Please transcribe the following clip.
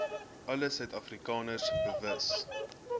alle suidafrikaners bewus